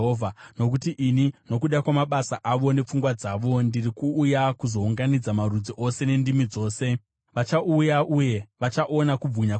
“Nokuti ini nokuda kwamabasa avo nepfungwa dzavo, ndiri kuuya kuzounganidza marudzi ose nendimi dzose; vachauya uye vachaona kubwinya kwangu.